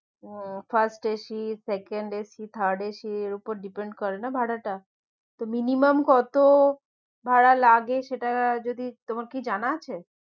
হুম first AC second AC third AC এর উপরে depend করে না ভাড়া টা তো minimum কত ভাড়া লাগে সেটা যদি তোমার কি জানা আছে?